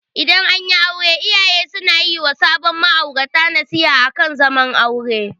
Idan anyi aure iyaye suna yi wa sabin ma'aurata nasiha akan zaman aure.